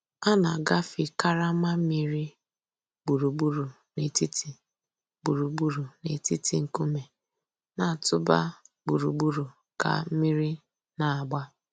A nà-àgàfé karama mmìrì gbùrùgbùrù nètìtì gbùrùgbùrù nètìtì ńkùmé̀ nà-̀tụ̀bà gbùrùgbùrù kà mmìrì nà-àgbà.